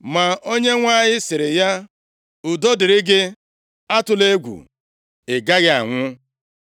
Ma Onyenwe anyị sịrị ya, “Udo dịrị gị, atụla egwu! Ị gaghị anwụ.”